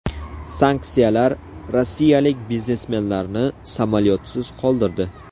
Sanksiyalar rossiyalik biznesmenlarni samolyotsiz qoldirdi.